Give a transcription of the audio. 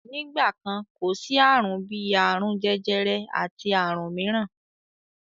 Nígbà kan, kò sí àrùn bí àrùn jẹjẹrẹ àti àrùn mìíràn.